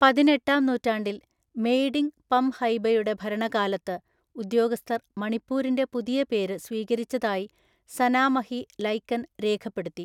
പതിനെട്ടാം നൂറ്റാണ്ടിൽ മെയ്ഡിംഗു പംഹൈബയുടെ ഭരണകാലത്ത് ഉദ്യോഗസ്ഥർ മണിപ്പൂരിന്റെ പുതിയ പേര് സ്വീകരിച്ചതായി സനാമഹി ലൈകൻ രേഖപ്പെടുത്തി.